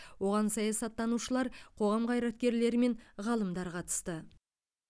оған саясаттанушылар қоғам қайраткерлері мен ғалымдар қатысты